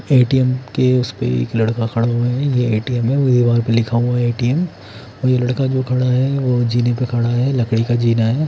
ए_ T_ M के उसपे एक लड़का खड़ा हुआ है ये ए_ टी_ एम् है वह पे लिखा हुआ है ए_ टी_ एम् ये लड़का जो खड़ा है जीने पे खड़ा है लकड़िका जीना है।